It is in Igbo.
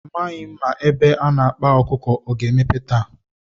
A maghị m ma ebe a na-akpa ọkụkọ ọ ga-emepe taa.